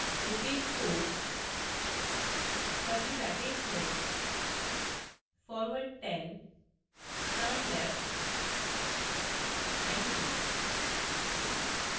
repeat 4 curly brackets में